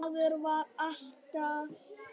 Maður varð bara að lifa.